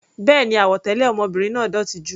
Béèni, àwọ̀ tẹlẹ ọmọbìnrin náà dótì jù.